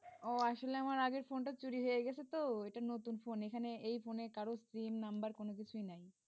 ও আসলে আমার আগের ফোনটা চুরি হয়ে গেছে তো এটা নতুন ফোন এখানে এই ফোনে কারোর sim নাম্বার কোন কিছুই নাই।